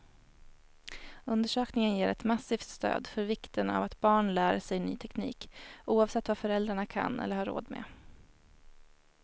Undersökningen ger ett massivt stöd för vikten av att barn lär sig ny teknik, oavsett vad föräldrarna kan eller har råd med.